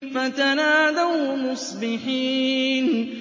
فَتَنَادَوْا مُصْبِحِينَ